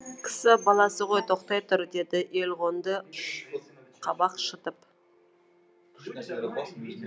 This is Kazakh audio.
кісі баласы ғой тоқтай тұр деді елғонды қабақ шытып